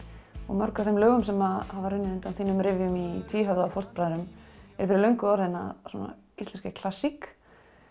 mörg af þeim lögum sem hafa runnið undan þínum rifjum í tvíhöfða og fóstbræðrum eru fyrir löngu orðin að íslenskri klassík